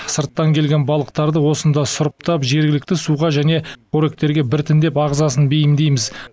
сырттан келген балықтарды осында сұрыптап жергілікті суға және қоректерге біртіндеп ағзасын бейімдейміз